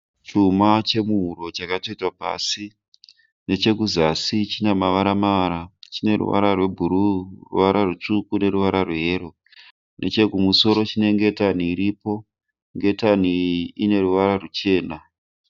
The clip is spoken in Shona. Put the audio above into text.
Chima chemuhuro chakatsvetwa pasi. Nechekuzasi chine mavara mavara. Chine ruvara rwebhuru, neruvara rutsvuku neruvara rwe yero. Nechekuzasi chine ngetani iripo. Ngetani iyi ine ruvara ruchena.